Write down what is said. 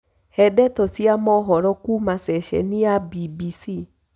he ndeto cĩa mohoro kuũma sesheni ya B.B.C